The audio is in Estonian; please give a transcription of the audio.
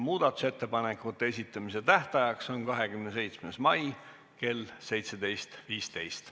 Muudatusettepanekute esitamise tähtaeg on 27. mail kell 17.15.